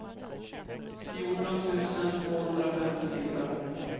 fjorton tusen tvåhundrafemtiofyra